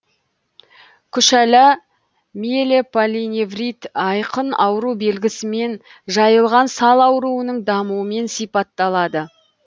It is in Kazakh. күшәла миелополиневрит айқын ауру белгісімен жайылған сал ауруының дамуымен сипатталады